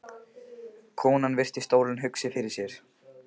Konan virti stólinn hugsi fyrir sér.